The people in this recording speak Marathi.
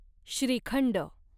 श्रीखंड